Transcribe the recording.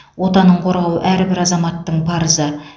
отанын қорғау әрбір азаматтың парызы